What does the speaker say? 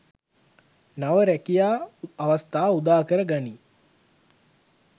නව රැකියා අවස්‌ථා උදාකර ගනී.